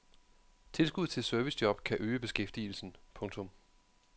Tilskud til servicejob kan øge beskæftigelsen. punktum